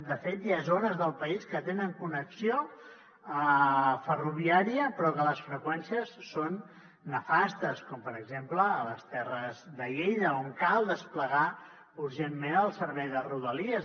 de fet hi ha zones del país que tenen connexió ferroviària però que les freqüències són nefastes com per exemple a les terres de lleida on cal desplegar urgentment el servei de rodalies